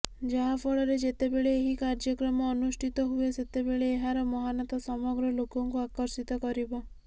ଯାହାଫଳରେ ଯେତେବେଳେ ଏହି କାର୍ଯ୍ୟକ୍ରମ ଅନୁଷ୍ଠିତ ହୁଏ ସେତେବେଳେ ଏହାର ମହାନତା ସମଗ୍ର ଲୋକଙ୍କୁ ଆକର୍ଷିତ କରିବ